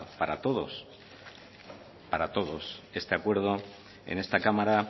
para todos este acuerdo en esta cámara